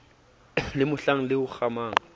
le mohlang le o kgamang